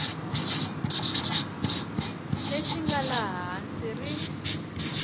lexi nga laha hansi ri